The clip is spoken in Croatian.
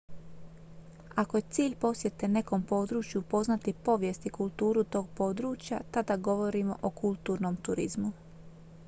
ako je cilj posjete nekom području upoznati povijest i kulturu tog područja tada govorimo o kulturnom turizmu